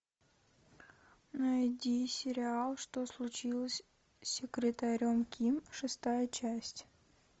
найди сериал что случилось с секретарем ким шестая часть